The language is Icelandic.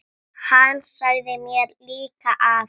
Hann sagði mér líka að